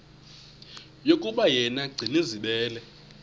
yokuba yena gcinizibele